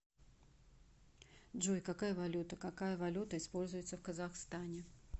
джой какая валюта какая валюта используется в казахстане